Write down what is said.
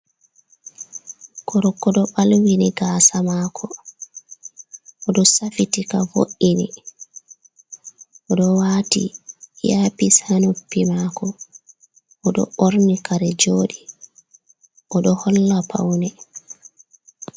Goroko ɗo ɓalwini gaasa maako. Oɗo safitika, vo’’ini oɗo waati iyapis haa noppi maako, oɗo ɓorni kare jooɗi, oɗo holla paune.